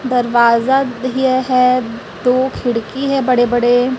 दरवाजा है दो खिड़की है बड़े बड़े।